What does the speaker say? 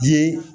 Bi